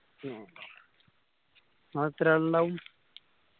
ഇങ്ങള് എത്രാൾ ഇണ്ടാവും